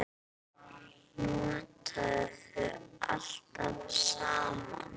Notaðu allt saman.